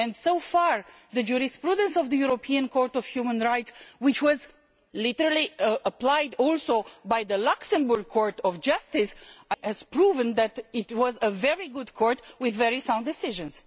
So far the jurisprudence of the European Court of Human Rights, which was literally applied also by the Luxembourg Court of Justice, has proved that it was a very good court with very sound decisions.